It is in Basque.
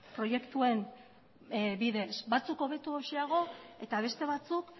proiektuen bidez batzuk hobetoxeago eta beste batzuk